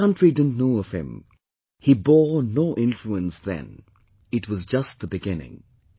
The country didn't know of him, he bore no influence then; it was just the beginning